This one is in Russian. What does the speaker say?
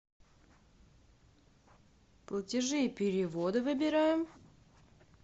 платежи и переводы выбираем